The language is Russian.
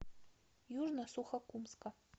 южно сухокумска